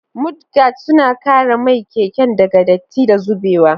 Mudguards suna kare mai keken daga datti da zubewa.